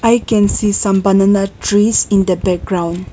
i can see some banana trees in the background